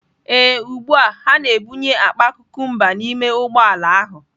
Ee, ugbu a ha na-ebunye akpa cucumbers n'ime ụgbọ ala ahụ.